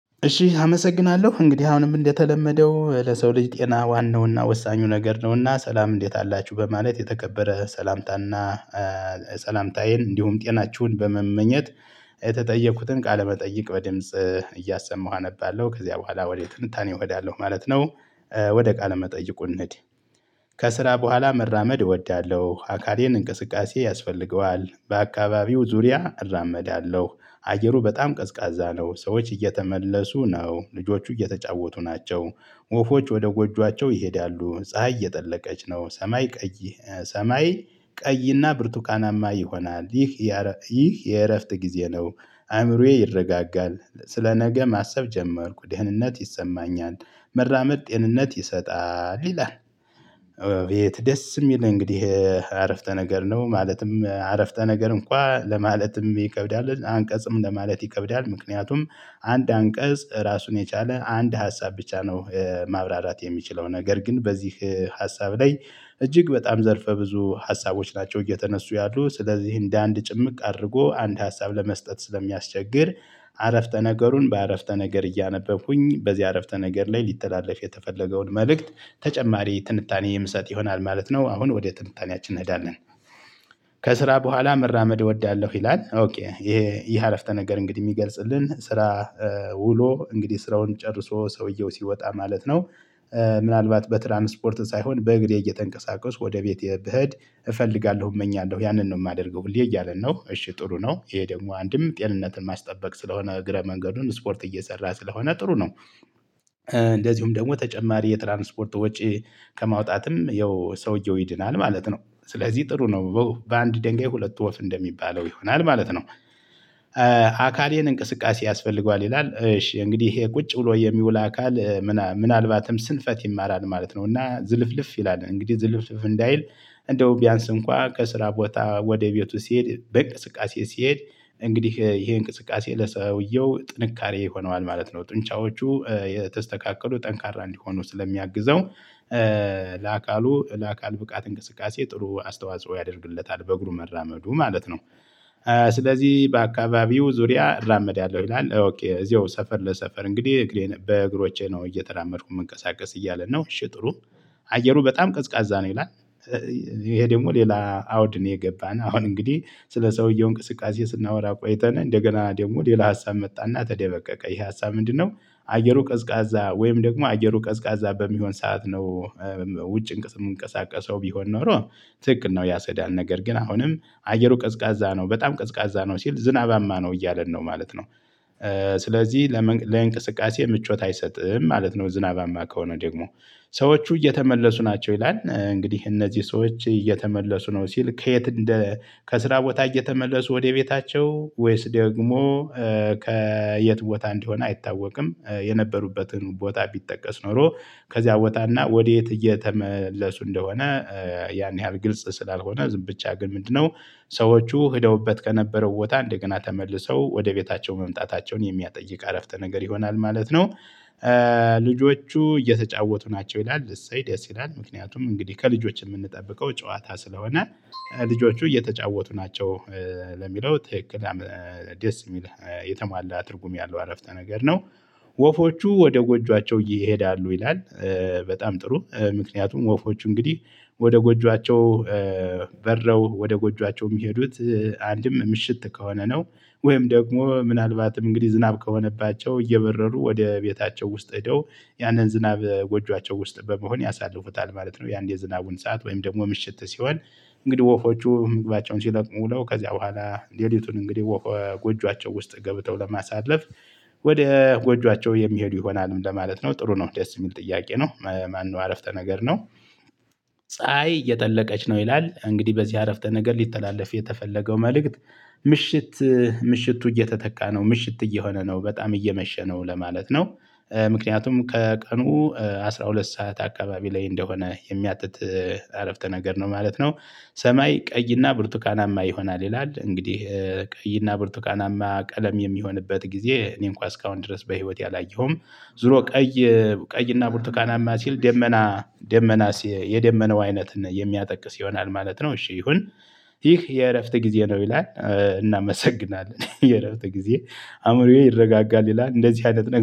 እሺ አመሰግናለሁ እንግዲህ አሁንም እንደተለመደው ለሰው ልጅ ጤና ዋናውና ወሳኙ ነገር ነውና ሰላም እንዴት አላችሁ በማለት የተከበረ ሰላምታና። ሰላምታዬን እንዲሁም ጤናችሁን በመመኘት። የተጠየኩትን ቃለመጠይቅ በድምጽ እያሰማሁ አነባለሁ። ከዚያ በኋላ ወዴት ትንታኔ እሄዳለሁ ማለት ነው። ወደ ቃለ መጠይቁ እንድን ከስራ በኋላ መራመድ እወዳለሁ። አካሌን እንቅስቃሴ ያስፈልገዋል በአካባቢው ዙሪያ እራመዳለሁ። አየሩ በጣም ቀዝቃዛ ነው። ሰዎች እየተመለሱ ነው ልጆቹ እየተጫወቱ ናቸው። ወፎች ወደ ጎጆአቸው ይሄዳሉ ፀሀይ እየጠለቀች ነው። ሰማይ ቀይ ሰማይ ቀይና ብርቱካናማ ይሆናል። ይህ ይህ የእረፍት ጊዜ ነው። አእምሮዬ ይረጋጋል። ስለ ነገ ማሰብ ጀመርኩ ደህንነት ይሰማኛል። መራመድ ጤንነት ይሰጣል ይላል። የት ደስ የሚል እንግዲህ አረፍተ ነገር ነው። ማለትም አረፍተ ነገር እንኳን ለማለትም ይከብዳል። አንቀጽም ለማለት ይከብዳል። ምክንያቱም አንድ አንቀጽ ራሱን የቻለ አንድ ሀሳብ ብቻ ነው። ማብራራት የሚችለው ነገር ግን በዚህ ሀሳብ ላይ እጅግ በጣም ዘርፈ ብዙ ሀሳቦች ናቸው እየተነሱ ያሉ ስለዚህ እንደ አንድ ጭምቅ አድርጎ አንድ ሀሳብ ለመስጠት ስለሚያስቸግር። አረፍተ ነገሩን በአረፍተ ነገር እያነበብኩኝ በዚህ አረፍተ ነገር ላይ ሊተላለፍ የተፈለገውን መልእክት ተጨማሪ ትንታኔ የምሰጥ ይሆናል ማለት ነው። አሁን ወደ ትንታኔያችን እንሄዳለን። ከስራ በኋላ መራመድ እወዳለሁ ይላል። ይሄ ይሄ አረፍተ ነገር እንግዲህ የሚገልጽልን ስራ ውሎ እንግዲህ ስራውን ጨርሶ ሰውየው ሲወጣ ማለት ነው። ምናልባት በትራንስፖርት ሳይሆን በእግሬ እየተንቀሳቀስኩ ወደ ቤቴ ብሄድ እፈልጋለሁ እመኛለሁ ያንን ነው የማደርገው ብለህ እያለ ነው። እሺ ጥሩ ነው። ይሄ ደግሞ አንድም ጤንነትን ማስጠበቅ ስለሆነ እግረ መንገዱን ስፖርት እየሰራ ስለሆነ ጥሩ ነው። እንደዚሁም ደግሞ ተጨማሪ የትራንስፖርት ወጪ ከማውጣትም ያው ሰውየው ይድናል ማለት ነው። ስለዚህ ጥሩ ነው በአንድ ደንጋይ ሁለት ወፍ እንደሚባለው ይሆናል ማለት ነው። አካሌን እንቅስቃሴ ያስፈልገዋል ይላል እሺ እንግዲህ ይሄ ቁጭ ብሎ የሚውል አካል ምናልባትም ስንፈት ይማራል ማለት ነው። እና ዝልፍልፍ ይላል እንግዲህ ዝልፍልፍ እንዳይል እንደው ቢያንስ እንኳን ከስራ ቦታ ወደ ቤቱ ሲሄድ በእንቅስቃሴ ሲሄድ እንግዲህ ይሄ እንቅስቃሴ ለሰውየው ጥንካሬ ይሆነዋል ማለት ነው። ጡንቻዎቹ የተስተካከሉ ጠንካራ እንዲሆኑ ስለሚያግዘው። ለአካሉ ለአካል ብቃት እንቅስቃሴ ጥሩ አስተዋጽኦ ያደርግለታል በእግሩ መራመዱ ማለት ነው። ስለዚህ በአካባቢው ዙሪያ እራመዳለው ያለው ይላል እዚሁ ሰፈር ለሰፈር እንግዲህ እግሬን በእግሮቼ ነው እየተራመድኩ የምንቀሳቀስ እያለ ነው። እሺ ጥሩ አየሩ በጣም ቀዝቃዛ ነው ይላል። ይሄ ደግሞ ሌላ አውድ ነው። የገባን አሁን እንግዲህ ስለ ሰውየው እንቅስቃሴ ስናወራ ቆይተናል እንደገና ደግሞ ሌላ ሀሳብ መጣና ተደበቀቀ ይሄ ሀሳብ ምንድነው? አየሩ ቀዝቃዛ ወይም ደግሞ አየሩ ቀዝቃዛ በሚሆን ሰዓት ነው። ውጭ የምንቀሳቀሰው ቢሆን ኖሮ ትክክል ነው ያሰዳል። ነገር ግን አሁንም አየሩ ቀዝቃዛ ነው በጣም ቀዝቃዛ ነው ሲል ዝናባማ ነው እያለን ነው ማለት ነው። ስለዚህ ለእንቅስቃሴ ምቾት አይሰጥም ማለት ነው። ዝናባማ ከሆነ ደግሞ ሰዎቹ እየተመለሱ ናቸው። ይላል እንግዲህ እነዚህ ሰዎች እየተመለሱ ነው ሲል ከየት እንደ ከስራ ቦታ እየተመለሱ ወደ ቤታቸው ወይስ ደግሞ ከየት ቦታ እንዲሆን አይታወቅም። የነበሩበትን ቦታ ቢጠቀስ ኖሮ ከዚያ ቦታና ወዴት እየተመለሱ እንደሆነ። ያን ያህል ግልጽ ስላልሆነ ዝም ብቻ ግን ምንድነው? ሰዎቹ ሄደውበት ከነበረው ቦታ እንደገና ተመልሰው ወደ ቤታቸው መምጣታቸውን የሚያጠይቅ አረፍተ ነገር ይሆናል ማለት ነው። ልጆቹ እየተጫወቱ ናቸው ይላል እሰይ ደስ ይላል ምክንያቱም እንግዲህ ከልጆች የምንጠብቀው ጨዋታ ስለሆነ። ልጆቹ እየተጫወቱ ናቸው። ለሚለው ትክክል ደስ የሚል የተሟላ ትርጉም ያለው አረፍተ ነገር ነው። ወፎቹ ወደ ጎጆአቸው ይሄዳሉ ይላል። በጣም ጥሩ ምክንያቱም ወፎች እንግዲህ ወደ ጎጆአቸው በረው ወደ ጎጆአቸው የሚሄዱት አንድም ምሽት ከሆነ ነው። ወይም ደግሞ ምናልባትም እንግዲህ ዝናብ ከሆነባቸው እየበረሩ ወደ ቤታቸው ውስጥ ሄደው ያንን ዝናብ ጎጆአቸው ውስጥ በመሆን ያሳልፉታል ማለት ነው። የአንድ የዝናቡን ሰዓት ወይም ደግሞ ምሽት ሲሆን እንግዲህ ወፎቹ ምግባቸውን ሲለቅሙ ነው። ከዚያ በኋላ ሌሊቱን እንግዲህ ጎጆአቸው ውስጥ ገብተው ለማሳለፍ። ወደ ጎንጃቸው የሚሄዱ ይሆናልም ለማለት ነው። ጥሩ ነው ደስ የሚል ጥያቄ ነው። ማነው አረፍተ ነገር ነው? ፀሀይ እየጠለቀች ነው ይላል እንግዲህ በዚህ አረፍተ ነገር ሊተላለፍ የተፈለገው መልእክት። ምሽት ምሽቱ እየተተካ ነው ምሽት እየሆነ ነው በጣም እየመሸ ነው ለማለት ነው። ምክንያቱም ከቀኑ አስራ ሁለት ሰዓት አካባቢ ላይ እንደሆነ የሚያጥጥ አረፍተ ነገር ነው ማለት ነው። ሰማይ ቀይና ብርቱካናማ ይሆናል ይላል እንግዲህ ቀይና ብርቱካናማ ቀለም የሚሆንበት ጊዜ እኔን እንኳን እስካሁን ድረስ በህይወቴ አላየሁትም። ዙሮ ቀይ ቀይና ቡርቱካናማ ሲል ደመና ደመና የደመናው አይነት የሚያጠቅስ ይሆናል ማለት ነው። እሺ ይሁን። ይህ የእረፍት ጊዜ ነው ይላል እናመሰግናለን የእረፍት ጊዜ አእምሮዬ ይረጋጋል። ይላል እንደዚህ አይነት